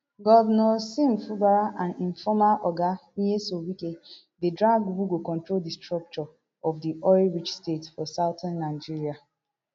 govnor sim fubara and im former oga nyesom wike dey drag who go control di structure of di oil rich state for southern nigeria